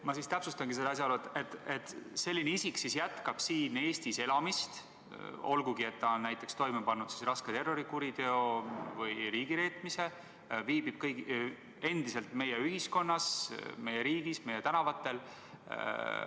Ma siis täpsustangi seda asjaolu, et selline isik jätkab siin Eestis elamist, olgugi et ta on näiteks toime pannud raske terrorikuriteo või riigireetmise, viibib endiselt meie ühiskonnas, meie riigis, meie tänavatel.